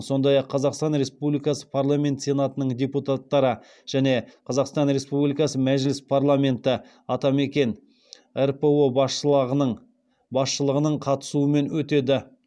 сондай ақ қазақстан республикасы парламенті сенатының депутаттары және қазақстан республикасы мәжіліс парламеті атамекен рпо басшылығының қатысуымен өтеді